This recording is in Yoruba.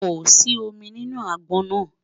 kò sí omí nínú agbọn nà